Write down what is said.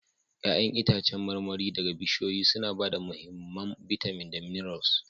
Ya'yan itãcen marmari daga bishiyoyi suna ba da mahimman bitamin da minerals